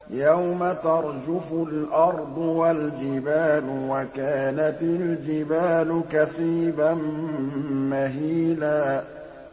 يَوْمَ تَرْجُفُ الْأَرْضُ وَالْجِبَالُ وَكَانَتِ الْجِبَالُ كَثِيبًا مَّهِيلًا